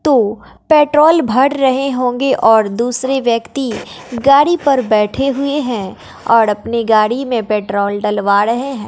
तो पेट्रोल भर रहे होंगे और दूसरे व्यक्ति गाड़ी पर बैठे हुए हैं और अपनी गाड़ी में पेट्रोल डलवा रहे हैं।